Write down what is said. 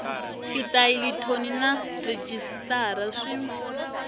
xitayili thoni na rhejisitara swi